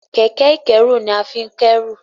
Kẹ̀kẹ́ ìkẹ́rù ní a fín k'ẹru.